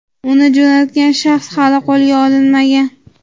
uni jo‘natgan shaxs hali qo‘lga olinmagan.